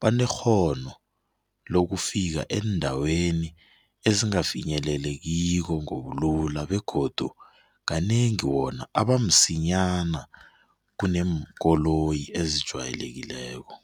banekghono lokufika eendaweni ezingafinyelelekiko ngobulula begodu kanengi wona abamsinyana kuneenkoloyi ezijwayelekileko.